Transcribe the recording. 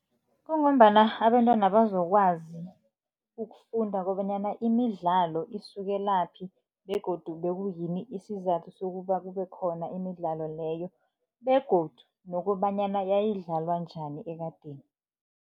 Kungombana abentwana bazokwazi ukufunda kobanyana imidlalo isukelaphi begodu bekuyini isizathu sokuba kube khona imidlalo leyo begodu nokobanyana yayidlalwa njani ekadeni.